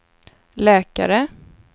läkare